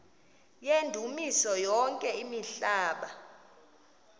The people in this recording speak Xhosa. yendumiso yonke imihla